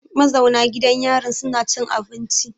Ma zauna gidan yarin suna cin abinci.